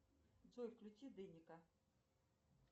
джой включи деника